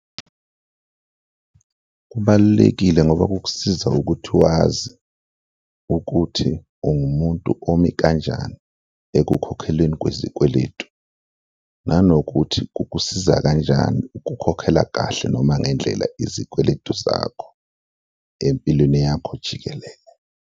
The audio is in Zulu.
Kubalulekile ngoba kukusiza ukuthi wazi ukuthi ungumuntu omi kanjani ekukhokhelweni kwezikweletu nanokuthi kukusiza kanjani ukukhokhela kahle noma ngendlela izikweletu zakho empilweni yakho jikelele.